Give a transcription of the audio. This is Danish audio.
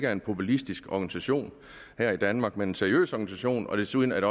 er en populistisk organisation her i danmark men en seriøs organisation desuden